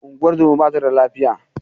Ungozomar ba tada lafiya yau.